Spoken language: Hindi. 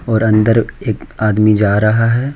और अंदर एक आदमी जा रहा है।